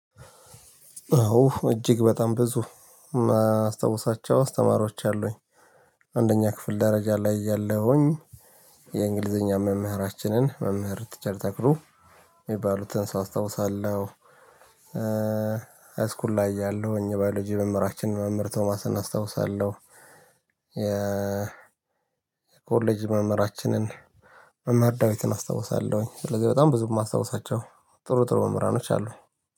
አወ እጅግ በጣም ብዙ ማስታውሳቸው አስተማሪዎች አሉኝ። አንደኛ ክፍል ደረጃ ላይ እያለሁኝ። የእንግሊዘኛ መምህራችንን መምህር ቲቸር ተክሉ ሚባሉትን ሰው አስታውሳለሁ። ሃይስኩል ላይ እያለሁኝ ባዮሎጂ መምህራችንን መምህር ቶማስን አስታውሳለሁ። የኮሌጅ መምህራችንን መምህር ዳዊትን አስታውሳለሁኝ። ስለዚህ በጣም ብዙ ማስታውሳቸው ጥሩ ጥሩ መምህራኖች አሉ።